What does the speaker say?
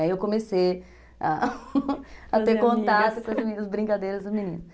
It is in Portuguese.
Aí eu comecei a ter contato com as meninas, brincadeiras das meninas.